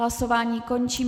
Hlasování končím.